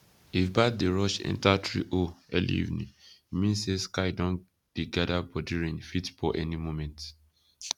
if bat dey rush enter tree hole earlyevening e mean say sky don dey gather bodyrain fit pour any moment